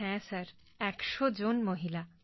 হ্যাঁ ১০০ জন মহিলা